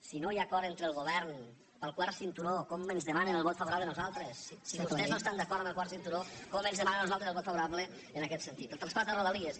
si no hi ha acord entre el govern pel quart cinturó com ens demanen el vot favorable a nosaltres si vostès no estan d’acord amb el quart cinturó com ens demanen a nosaltres el vot favorable en aquest sentit el traspàs de rodalies